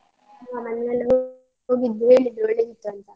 ಮನೆಯಲ್ಲಿ ಎಲ್ಲಾ ಹೋಗಿದ್ರು ಹೇಳಿದ್ರು ಒಳ್ಳಿದಿತ್ತು ಅಂತ.